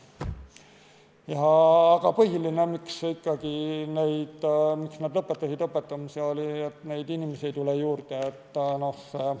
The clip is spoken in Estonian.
Aga põhiline ikkagi, miks nad lõpetasid õpetamise, oli see, et neid inimesi ei tule juurde.